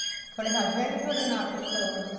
ਤੁਹਾਡੇ husband ਨੀਂ ਤੁਹਾਡੇ ਨਾਲ ਕੁੱਝ ਕਰਵਾਉਂਦੇ